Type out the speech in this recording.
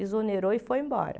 Exonerou e foi embora.